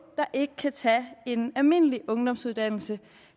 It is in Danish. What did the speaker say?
der ikke kan tage en almindelig ungdomsuddannelse